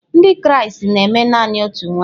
Ndị Kraịst na-eme naanị otu nwanyị.